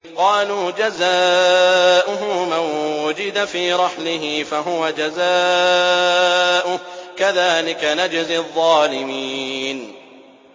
قَالُوا جَزَاؤُهُ مَن وُجِدَ فِي رَحْلِهِ فَهُوَ جَزَاؤُهُ ۚ كَذَٰلِكَ نَجْزِي الظَّالِمِينَ